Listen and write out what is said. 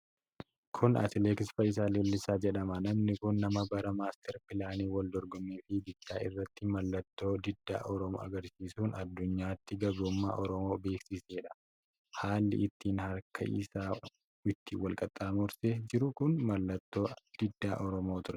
Kun Atileet Fayyisaa Leellisaa jedhama. Namni kun nama bara maastar pilaanii wal dorgommii fiigichaa irratti mallattoo diddaa Oromoo argarsiisuun addunyaatti gabrummaa Oromoo barsiisedha. Haalli ittiin harka isaa itti wal qaxxaamursee jiru kun mallattoo didda Oromoo ture.